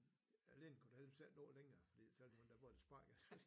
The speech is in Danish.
Ledningen kunne da heldigvis ikke nå længere fordi så ville hun da både have sparket ham